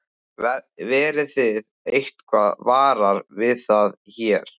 Verðið þið eitthvað varar við það hér?